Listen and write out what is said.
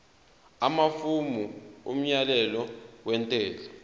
amafomu omyalelo wentela